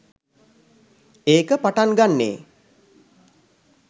ඒක පටන් ගන්නේ